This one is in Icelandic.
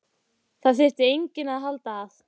Það þyrfti enginn að halda að